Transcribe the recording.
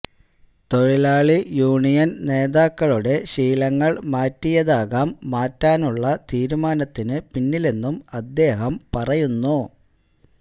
തൊഴിലാളി യൂണിയൻ നേതാക്കളുടെ ശീലങ്ങൾ മാറ്റിയതാകാം മാറ്റാനുള്ള തീരുമാനത്തിന് പിന്നിലെന്നും അദ്ദേഹം പറയുന്നു